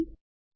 method post થશે